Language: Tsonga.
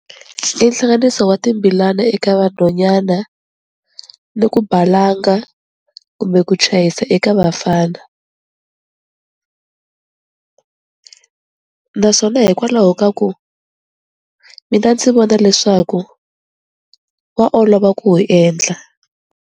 I hlanganiso wa timbilana eka vanhonyana ni ku balanga kumbe ku chayisa eka vafana, naswona hikwalaho ka ku mina ndzi vona leswaku wa olova ku wu endla.